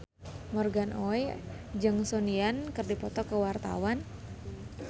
Morgan Oey jeung Sun Yang keur dipoto ku wartawan